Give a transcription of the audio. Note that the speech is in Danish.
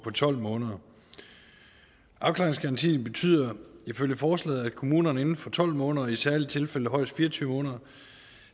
tolv måneder afklaringsgarantien betyder ifølge forslaget at kommunerne inden for tolv måneder og i særlige tilfælde højst fire og tyve måneder